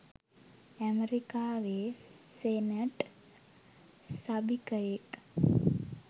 අමෙරිකාවේ senate සභිකයෙක්.